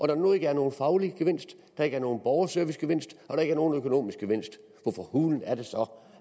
der nu ikke er nogen faglig gevinst der ikke er nogen borgerservicegevinst og der ikke er nogen økonomisk gevinst hvorfor hulen er det så